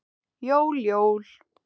Jól, jól.